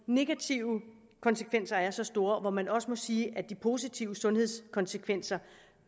negative konsekvenser er så store og hvor man også må sige at de positive sundhedskonsekvenser